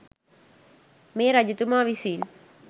මේ රජතුමා විසින්